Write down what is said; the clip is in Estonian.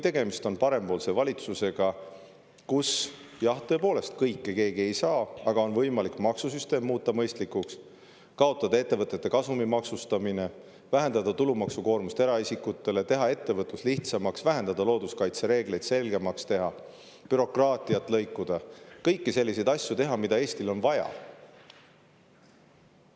Tegemist on parempoolse valitsusega, kus, jah, tõepoolest, kõike keegi ei saa, aga on võimalik maksusüsteem muuta mõistlikuks, kaotada ettevõtete kasumi maksustamine, vähendada eraisikute tulumaksukoormust, teha ettevõtlus lihtsamaks, looduskaitsereegleid vähendada ja selgemaks teha, bürokraatiat lõikuda, teha kõiki selliseid asju, mida Eestil on vaja.